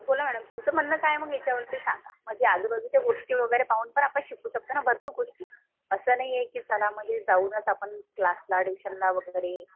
बोला मॅडम तुमचं म्हणणं काय आहे मग याच्यावरती सांगा. म्हणजे आजूबाजूच्या गोष्टी वगैरे पाहून पण आपण शिकू शकतो ना. भरपूर गोष्टी. अस नाहीये कि चला म्हणजे आपण जाऊनच क्लासला ट्युशनला वगैरे